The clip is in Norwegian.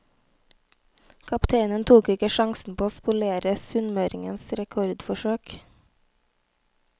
Kapteinen tok ikke sjansen på å spolere sunnmøringenes rekordforsøk.